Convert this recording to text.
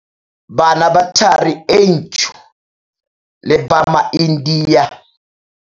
Bana ba Thari e Ntsho le ba maIndia.